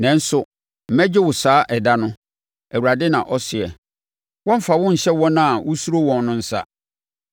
Nanso mɛgye wo saa ɛda no, Awurade na ɔseɛ; wɔremfa wo nhyɛ wɔn a wosuro wɔn no nsa.